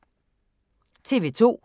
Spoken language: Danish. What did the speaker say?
TV 2